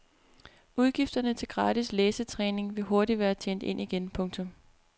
Udgifterne til gratis læsetræning vil hurtigt være tjent ind igen. punktum